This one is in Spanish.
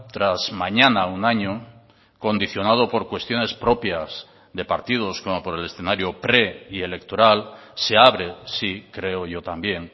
tras mañana un año condicionado por cuestiones propias de partidos como por el escenario pre y electoral se abre sí creo yo también